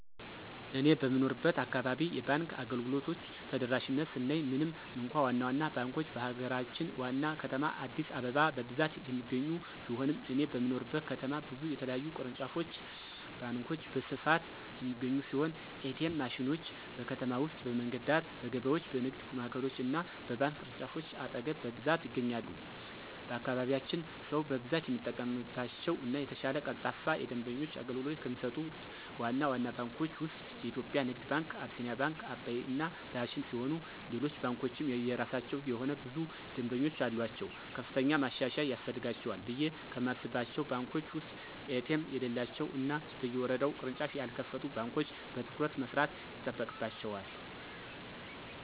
እኔ በምኖርበት አካባቢ የባንክ አገልግሎቶች ተደራሽነት ስናይ ምንም እንኳ ዋና ዋና ባንኮች በሀገራችን ዋና ከተማ አዲስአበባ በብዛት የሚገኙ ቢሆንም እኔ በምኖርበት ከተማ ብዙ የተለያዩ ቅርንጫፍ ባንኮች በስፋት የሚገኙ ሲሆን: ኤ.ቲ.ኤም ማሽኖች: በከተማ ውስጥ በመንገድ ዳር፣ በገበያዎች፣ በንግድ ማዕከሎች እና በባንክ ቅርንጫፎች አጠገብ በብዛት ይገኛሉ። በአካባቢያችን ሰው በብዛት የሚጠቀምባቸው እና የተሻለ ቀልጣፋ የደንበኞች አገልግሎት ከሚሰጡት ዋና ዋና ባንኮች ውስጥ (የኢትዮጽያ ንግድ ባንክ፣ አቢሲኒያ፣ አባይ እና ዳሽን ሲሆኑ ሌሎች ባንኮችም የየራሳቸው የሆነ ብዙ ደምበኞች አሉአቸው። ከፍተኛ ማሻሻያ ያስፈልጋቸዋል ብየ ከማስባቸው ባንኮች ውስጥ ኤ.ቲ.ኤም የሌላቸው እና በየወረዳው ቅርንጫፍ ያልከፈቱ ባንኮች በትኩረት መስራት ይጠበቅባቸዋል።